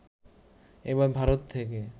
এবার ভারত থেকে